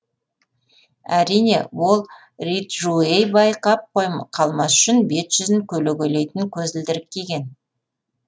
әрине ол риджуэй байқап қалмас үшін бет жүзін көлегейлейтін көзілдірік киген